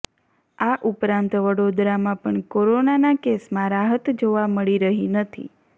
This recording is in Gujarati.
આ ઉપરાંત વડોદરામાં પણ કોરોનાના કેસમાં રાહત જોવા મળી રહી નથી